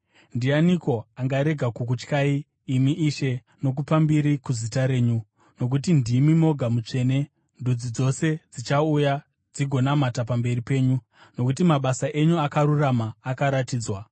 Ndianiko angarega kukutyai, imi Ishe, kana kukudza zita renyu? Nokuti ndimi moga mutsvene. Ndudzi dzose dzichauya dzigonamata pamberi penyu, nokuti mabasa enyu akarurama akaratidzwa.”